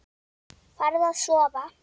Farðu að sofa.